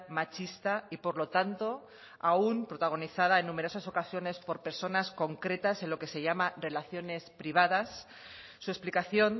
machista y por lo tanto aún protagonizada en numerosas ocasiones por personas concretas en lo que se llama relaciones privadas su explicación